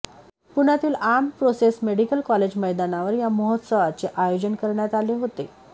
पुण्यातील armed forces medical college मैदानावर या महोत्सवाचे आयोजन करण्यात आले होते